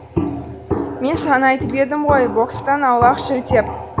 мен саған айтып едім ғой бокстан аулақ жүр деп